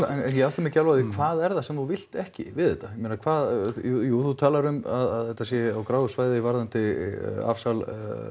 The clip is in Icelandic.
ég átta mig ekki alveg á því hvað það er sem þú vilt ekki við þetta ég meina hvað jú þú talar um að þetta sé á gráu svæði varðandi afsal